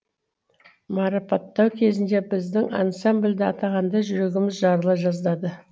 марапаттау кезінде біздің ансамбльді атағанда жүрегіміз жарыла жаздады